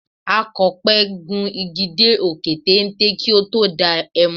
Akọ̀pẹ gun igi dé òkè téńté kí ó tó da ẹmu.